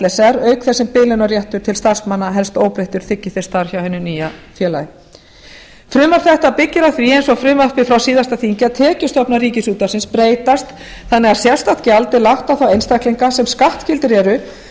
s r auk þess sem biðlaunaréttur til starfsmanna helst óbreyttur þiggi þeir starf hjá hinu nýja félagi frumvarp þetta byggir á því eins og frumvarpið frá síðasta þingi að tekjustofnar ríkisútvarpsins breytast þannig að sérstakt gjald er lagt á þá einstaklinga sem skattskyldir eru